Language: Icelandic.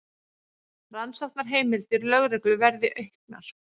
Rannsóknarheimildir lögreglu verði auknar